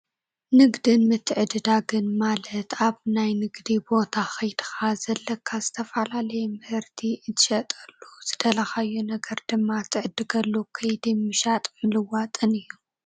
ንግድን ምትዕድዳግን ማለት ኣብ ናይ ንግዲ ቦታ ከይድካ ዘለካ ዝተፈላለየ ምህርቲ እትሸጠሉ ዝደለኻዮ ነገር ድማ እትዕድገሉ ከይዲ ምሻን ምልዋጥን እዩ፡፡